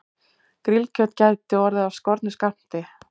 Grillkjöt gæti orðið af skornum skammti